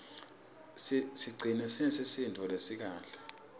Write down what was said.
sicigcine sinesisindvo lesikahle